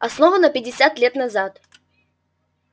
основана пятьдесят лет назад